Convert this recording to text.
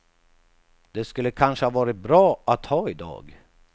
Det skulle kanske ha varit bra att ha idag.